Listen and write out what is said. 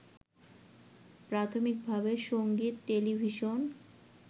প্রাথমিকভাবে সঙ্গীত, টেলিভিশন